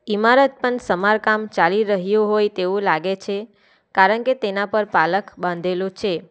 ઇમારત પણ સમારકામ ચાલી રહ્યું હોય તેવું લાગે છે કારણ કે તેના પર પાલખ બાંધેલો છે.